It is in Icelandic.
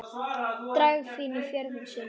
Dragfín í fjöðrum sínum.